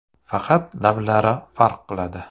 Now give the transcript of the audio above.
Faqat laqablari farq qiladi.